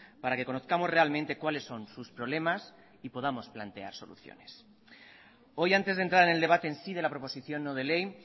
para que conozcamos realmente cuáles son sus problemas y podamos plantear soluciones hoy antes de entrar en el debate en sí de la proposición no de ley